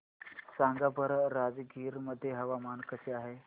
सांगा बरं राजगीर मध्ये हवामान कसे आहे